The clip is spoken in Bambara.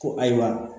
Ko ayiwa